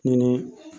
Ni